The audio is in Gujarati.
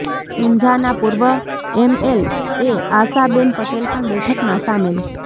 ઊંઝા ના પૂર્વ M L A Ashaben Patel પણ બેઠક માં સામેલ